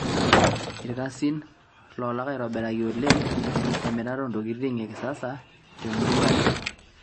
ikasini loolak aitobiraki oleng te mirata o ntokitin e kisasa te murua aai